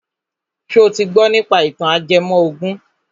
Ṣo ti gbọ nípa ìtàn ajẹmọ ògùn?